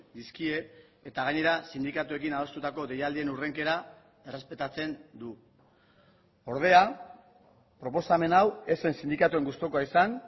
dizkie eta gainera sindikatuekin adostutako deialdien hurrenkera errespetatzen du ordea proposamen hau ez zen sindikatuen gustukoa izan